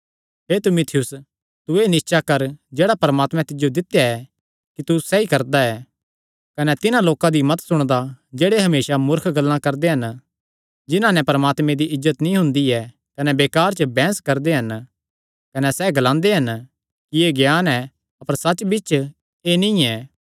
हे तीमुथियुस तू एह़ निस्चा कर जेह्ड़ा परमात्मे तिज्जो दित्या ऐ कि तू सैई करदा ऐ कने तिन्हां लोकां दी मत सुणदा जेह्ड़े हमेसा मूर्ख गल्लां करदे हन जिन्हां नैं परमात्मे दी इज्जत नीं हुंदी ऐ कने बेकार च बैंह्स करदे हन कने सैह़ ग्लांदे हन कि एह़ ज्ञान ऐ अपर सच्च बिच्च एह़ नीं ऐ